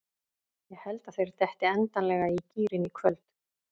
Ég held að þeir detti endanlega í gírinn í kvöld.